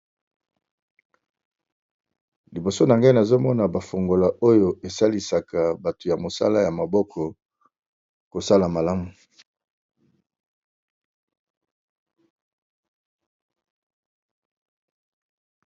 Liboso na ngai nazo mona ba fungola oyo e salisaka bato ya mosala ya maboko kosala malamu .